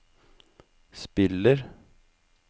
spiller